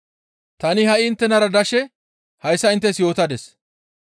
«Tani ha7i inttenara dashe hayssa inttes yootadis.